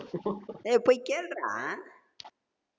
ஏய் போய் கேளுடார